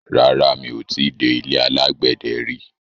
Rárá, mi ò ti dé ilé alágbẹ̀dẹ rí.